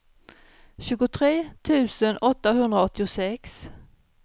tjugotre tusen åttahundraåttiosex